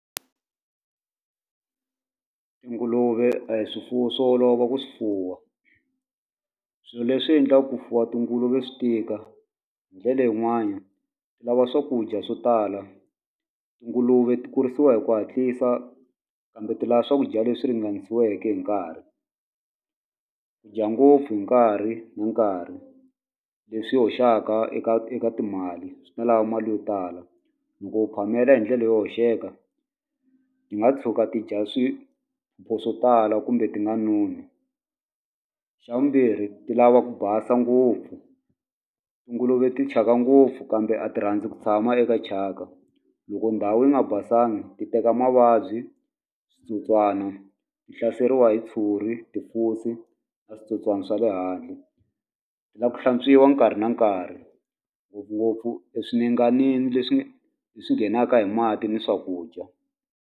Tinguluve a hi swifuwo swo olova ku swi fuwa swilo leswi endlaka ku fuwa tinguluve swi tika hi ndlele yin'wani lava swakudya swo tala tinguluve kurisiwa hi ku hatlisa kambe ti la swakudya leswi ringanisiweke hi nkarhi ku dya ngopfu hi nkarhi na nkarhi leswi hoxaka eka eka timali swi ta lava mali yo tala loko u phamela hi ndlela yo hoxeka ti nga tshuka ti dya swo tala kumbe ti nga noni xa vumbirhi ti lava ku basa ngopfu tinguluve ti thyaka ngopfu kambe a ti rhandzi ku tshama eka thyaka loko ndhawu yi nga basanga ti teka mavabyi switsotswana ti hlaseriwa hi tshuri na switsotswana swa le handle swi la ku hlantswiwa nkarhi na nkarhi ngopfungopfu eswinenganini leswi leswi nghenaka hi mati ni swakudya.